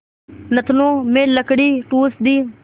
नथनों में लकड़ी ठूँस दी